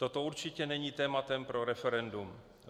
Toto určitě není tématem pro referendum.